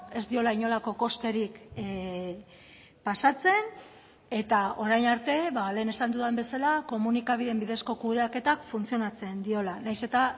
ez diola inolako kosterik pasatzen eta orain arte lehen esan dudan bezala komunikabideen bidezko kudeaketa funtzionatzen diola nahiz eta